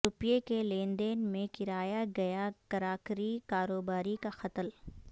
روپئے کے لین د ین میں کرایا گیا کراکری کاروباری کا قتل